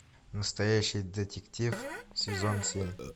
настоящий детектив сезон семь